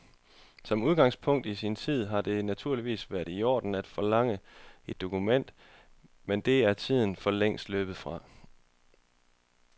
Som udgangspunkt i sin tid har det naturligvis været i orden at forlange et dokument, men det er tiden for længst løbet fra.